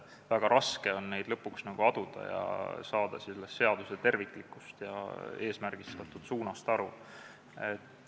Väga raske on neid lõpuks aduda ja saada seaduse terviklikust ja eesmärgistatud suunast aru.